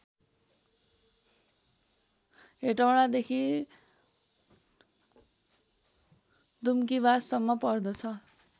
हेटौडादेखि दुम्कीवाससम्म पर्दछ